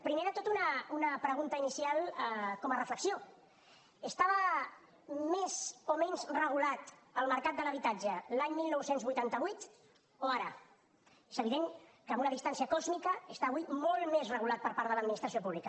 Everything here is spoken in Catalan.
primer de tot una pregunta inicial com a reflexió estava més o menys regulat el mercat de l’habitatge l’any dinou vuitanta vuit o ara és evident que amb una distància còsmica està avui molt més regulat per part de l’administració pública